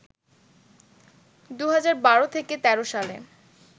২০১২-১৩ সালে